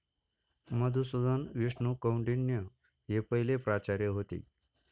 मधुसूदन विष्णू कौंडिण्य हे पहिले प्राचार्य होते.